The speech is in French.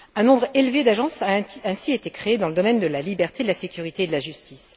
Un nombre élevé d'agences a ainsi été créé dans le domaine de la liberté, de la sécurité et de la justice.